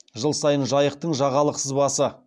жыл сайын жайықтың жағалық сызбасы